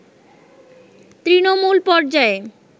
তৃণমূল পর্যায়ে